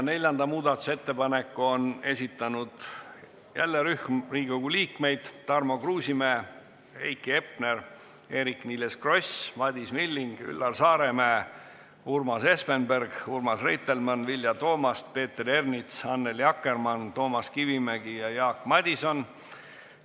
Neljanda muudatusettepaneku on esitanud jälle rühm Riigikogu liikmeid: Tarmo Kruusimäe, Heiki Hepner, Eerik-Niiles Kross, Madis Milling, Üllar Saaremäe, Urmas Espenberg, Urmas Reitelmann, Vilja Toomast, Peeter Ernits, Annely Akkermann, Toomas Kivimägi ja Jaak Madison.